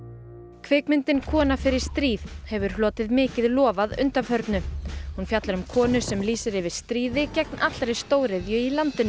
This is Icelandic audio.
kvikmyndin kona fer í stríð hefur hlotið mikið lof að undanförnu hún fjallar um konu sem lýsir yfir stríði gegn allri stóriðju í landinu